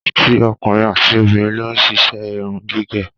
Àti ọkùnrin àti obìnrin ló ń ṣiṣẹ́ irun gígẹ̀